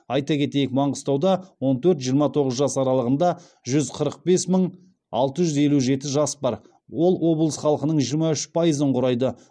айта кетейік маңғыстауда он төрт жиырма тоғыз жас аралығында жүз қырық бес мың алты жүз елу жеті жас бар ол облыс халқының жиырма үш пайызын құрайды